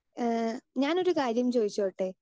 Speaker 2 ഏഹ് ഞാൻ ഒരു കാര്യം ചോദിച്ചോട്ടെ?